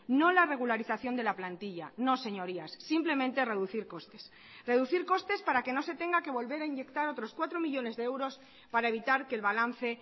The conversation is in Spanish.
no la regularización de la plantilla no señorías simplemente reducir costes reducir costes para que no se tenga que volver a inyectar otros cuatro millónes de euros para evitar que el balance